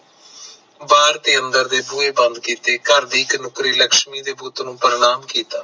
ਬਾਰ ਤੇ ਅੰਦਰ ਦੇ ਬੂਹੇ ਬੰਦ ਕੀਤੇ ਘਰ ਦੇ ਨੁੱਕਰੀ ਇੱਕ ਲਕਸ਼ਮੀ ਦੇ ਬੁੱਤ ਨੂੰ ਪ੍ਰਨਾਮ ਕੀਤਾ